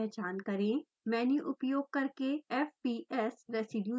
menu उपयोग करके fps residue चुनें